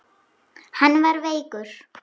Hann var veikur.